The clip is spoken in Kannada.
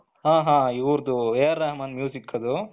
ಹ ಹ ಇವರದು AR ರೆಹಮಾನ್ ದು